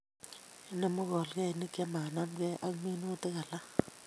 Inemu pkolkeinik che manamegei ak minutik alage